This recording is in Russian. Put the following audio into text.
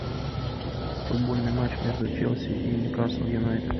футбольный матч между челси и ньюкасл юнайтед